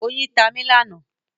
Oyin tá mí lánàá.